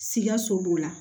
Sikaso b'o la